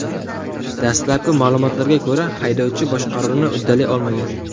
Dastlabki ma’lumotlarga ko‘ra, haydovchi boshqaruvni uddalay olmagan.